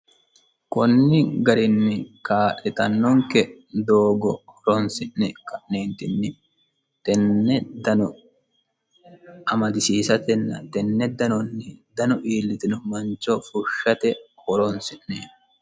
kunni garinni kaa'litannonke doogo horonsi'ne ka'neentinni tenne dano amadisiisatenna tenne danonni dano iillitino mancho fushshate horonisi'neemo